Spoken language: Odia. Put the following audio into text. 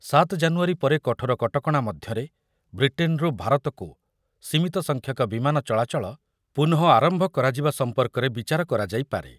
ସାତ ଜାନୁୟାରୀ ପରେ କଠୋର କଟକଣା ମଧ୍ୟରେ ବ୍ରିଟେନ୍‌ରୁ ଭାରତକୁ ସୀମିତ ସଂଖ୍ୟକ ବିମାନ ଚଳାଚଳ ପୁନଃ ଆରମ୍ଭ କରାଯିବା ସମ୍ପର୍କରେ ବିଚାର କରାଯାଇପାରେ।